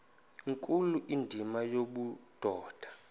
nkulu indima yobudoda